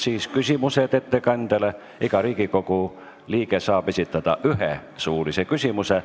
Siis on küsimused ettekandjale, iga Riigikogu liige saab esitada ühe suulise küsimuse.